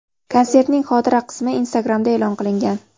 Konsertning xotira qismi Instagram’da e’lon qilingan.